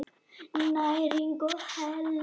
Næring og heilsa.